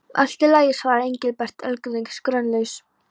Allt í lagi svaraði Engilbert, öldungis grunlaus.